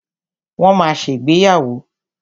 Wọ́n ma ṣègbéyàwó.